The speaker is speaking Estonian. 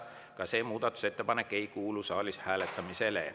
Ka see muudatusettepanek ei kuulu saalis hääletamisele.